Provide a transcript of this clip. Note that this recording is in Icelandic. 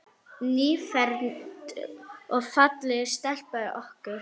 Nýfermd og falleg stelpan okkar.